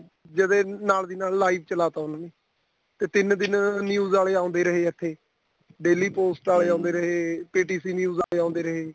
ਜਦੋਂ ਇਹ ਨਾਲ ਦੀ ਨਾਲ live ਚਲਾ ਤਾਂ ਉਨੂੰ ਤੇ ਤਿੰਨ ਦਿਨ news ਵਾਲੇ ਆਉਂਦੇ ਰਹੇ ਇੱਥੇ daily post ਆਲੇ ਆਉਂਦੇ ਰਹੇ ਤੇ PTC ਵਾਲੇ ਆਉਂਦੇ ਰਹੇ